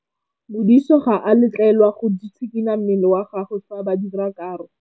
Modise ga a letlelelwa go tshikinya mmele wa gagwe fa ba dira karô.